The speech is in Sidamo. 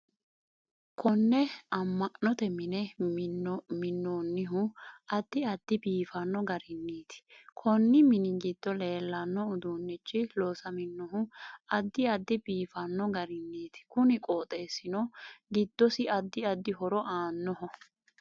Konne am'note mine minoonihu addi addi biifanno gariniiti konni mini giddo leelanno uduunichi loosaminohu addi addi biifanno gariniiti kuni qooxeesino giddosi addi addi horo aannoho